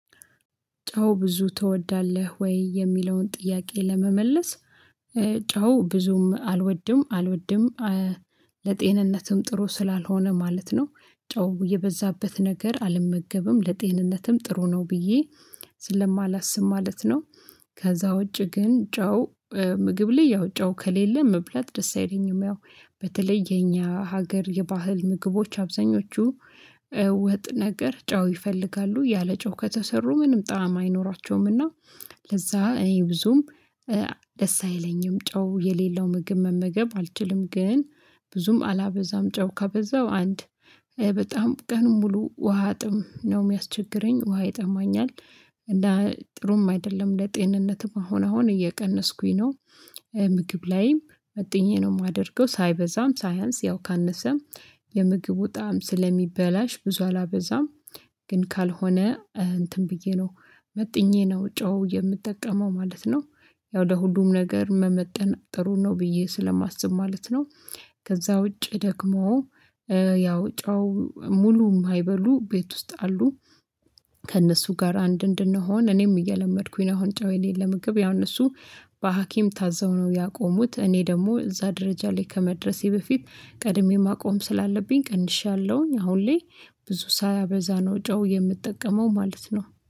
ጨው ብዙ ትወዳለህ? ወይ የሚለውን ጥያቄ ለመመለስ ጨው ብዙም አልወድም አልወድም ለጤንነትም ጥሩ ስላልሆነ ማለት ነው። ጨው የበዛበት ነገር አልመገብም ለጤንነትም ጥሩ ነው ብዬ ስለማላስብ ማለት ነው። ከዛ ውጪ ግን ጨው ምግብ ላይ ያው ጨው ከሌለ መብላት ደስ አይለኝም። ያው በተለየ እኛ ሀገር የባህል ምግቦች አብዛኞቹ ወጥ ነገር ጫው ይፈልጋሉ ያለ ጫው ከተሰሩ ምንም ጣዕም አይኖራቸውምና። ለዛ እኔ ብዙም ደስ አይለኝም ጨው የሌለው ምግብ መመገብ አልችልም። ግን ብዙም አላበዛም ጨው ከበዛው አንድ በጣም ቀን ሙሉ ውሃ ጥም ነው የሚያስቸግረኝ ውሃ ይጠማኛል። ጥሩም አይደለም ለጤንነትም አሁን አሁን እየቀነስኩኝ ነው። ምግብ ላይም መጥኜ ነው የማደርገው ሳይበዛም ሳያንስ ያው ካነሰም የምግቡ ጣዕም ስለሚበላሽ ብዙ አላበዛም። ግን ካልሆነ እንትን ብዬ ነው መጥኜ ነው ጨው የምጠቀመው ማለት ነው። ያው ወደ ሁሉም ነገር መመጠን ጥሩን ነው ብዬ ስለማስብ ማለት ነው። ከዛ ውጪ ደግሞ ያው ጨው ሙሉ የማይበሉ ቤት ውስጥ አሉ። ከእነሱ ጋር አንድ እንድንሆን እኔም እየለመድኩኝ ነው አሁን ጫው የሌለው ምግብ ያነሱ በሀኪም ታዘው ነው ያቆሙት። እኔ ደግሞ እዛ ደረጃ ላይ ከመድረሴ በፊት ቀድሜ ማቆም ስላለብኝ ቀንሻለሁኝ አሁን ላይ ብዙ ሳያበዛ ነው ጨው የምጠቀመው ማለት ነው።